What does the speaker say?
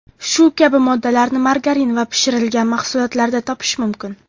Shu kabi moddalarni margarin va pishirilgan mahsulotlarda topish mumkin.